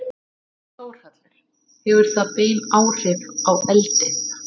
Þórhallur: Hefur það bein áhrif á eldið?